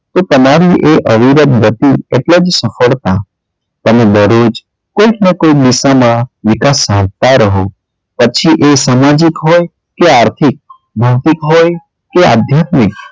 કે તે તમારી એ અવિરત ગતિ એટલે જ સફળતા તમે દરરોજ કોઈક ને કોઈ દિશામાં વિકાસ સાધતાં રહો પછી એ સામાજિક હોય કે આર્થીક, માનસિક હોય કે આધ્યાત્મિક,